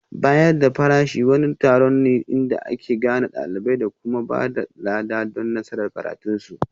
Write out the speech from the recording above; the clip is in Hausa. Bayar da farashi wani taron ne inda ake gane ɗalibai da kuma ba da lada don nasarar karatunsu